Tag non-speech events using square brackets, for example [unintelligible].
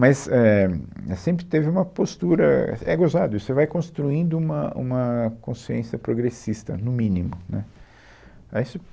Mas éh, mas sempre teve uma postura... É gozado isso, você vai construindo uma uma consciência progressista, no mínimo, né. [unintelligible]